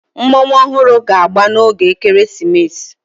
Mmọnwụ ọhụrụ ga-agba n'oge ekeresimesi